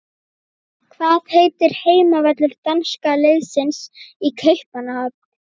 Hvað heitir heimavöllur danska landsliðsins í Kaupmannahöfn?